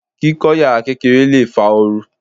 Kíkọ́ yàrá kékeré lè fa ooru.